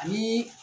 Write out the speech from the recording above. Ani